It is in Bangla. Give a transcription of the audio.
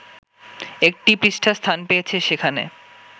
একটি পৃষ্ঠা স্থান পেয়েছে সেখানে